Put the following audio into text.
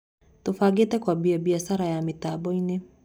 Tũbangĩte kwambia mbiacara ya mĩtamboinĩ.